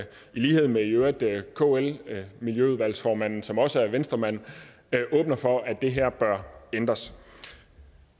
lighed med i øvrigt kls miljøudvalgsformand som også er venstremand åbner for at det her bør ændres